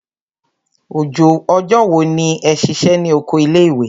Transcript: Ọjọ́ wo ni ẹ ṣiṣẹ́ ní oko ilé ìwé?